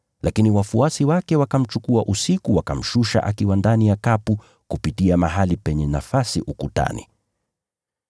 Lakini wafuasi wake wakamchukua usiku wakamshusha akiwa ndani ya kapu kupitia mahali penye nafasi ukutani.